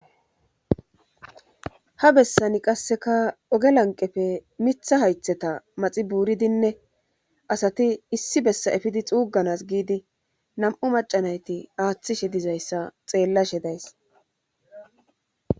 ha bessani qasseka ooge lanqeppe miththa hayththeta maxi buuridinne asati issi bessa effidii xuugganas giidi nam'u maca nayti aaththishe dizayssa xeellashe days